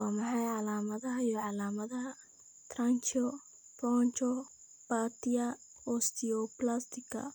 Waa maxay calaamadaha iyo calaamadaha Tracheobronchopathia osteoplastica?